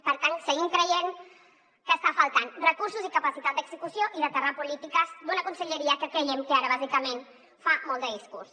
per tant seguim creient que estan faltant recursos i capacitat d’execució i aterrar polítiques d’una conselleria que creiem que ara bàsicament fa molt de discurs